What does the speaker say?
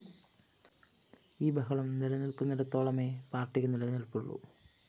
ഈ ബഹളം നിലനില്‍ക്കുന്നിടത്തോളമെ പാര്‍ട്ടിക്കു നിലനില്‍പ്പുള്ളു